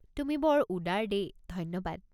তুমি বৰ উদাৰ দেই! ধন্যবাদ।